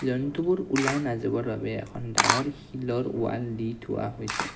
জন্তুবোৰ ওলাই নাযাবৰ বাবে এখন ডাঙৰ শিলৰ ৱাল দি থোৱা আছে।